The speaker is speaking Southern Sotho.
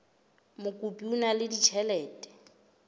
mokopi o na le ditjhelete